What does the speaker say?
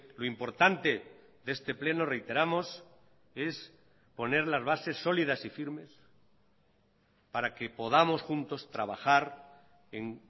lo importante de este pleno reiteramos es poner las bases sólidas y firmes para que podamos juntos trabajar en